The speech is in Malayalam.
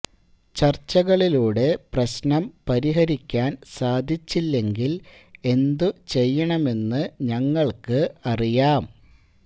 ചർച്ചകളിലൂടെ പ്രശ്നം പരിഹരിക്കാൻ സാധിച്ചില്ലെങ്കിൽ എന്തു ചെയ്യണമെന്നു ഞങ്ങൾക്ക് അറിയാം